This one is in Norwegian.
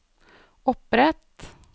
opprett